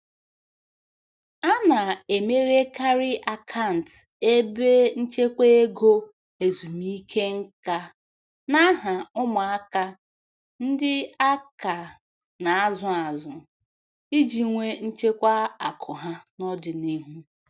A na-emeghekarị akant ebe nchekwa ego ezumike nkā n'aha ụmụaka ndị aka na-azụ azụ iji nwee nchekwa akụ ha n'ọdịnihu.